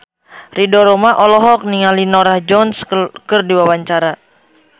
Ridho Roma olohok ningali Norah Jones keur diwawancara